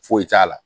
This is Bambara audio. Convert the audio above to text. Foyi t'a la